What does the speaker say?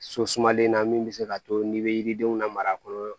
So sumalen na min bɛ se k'a to n'i bɛ yiridenw lamara kɔnɔ